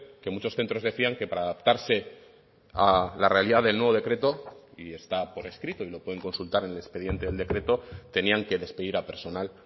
que muchos centros decían que para adaptarse a la realidad del nuevo decreto y está por escrito y lo pueden consultar en el expediente del decreto tenían que despedir a personal